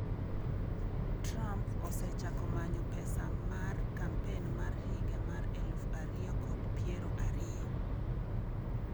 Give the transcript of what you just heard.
Trump osechako manyo pesa mar kampen mar higa mar aluf ariyo kod piero ariyo